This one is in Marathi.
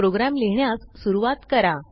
प्रोग्रॅम लिहिण्यास सुरूवात करा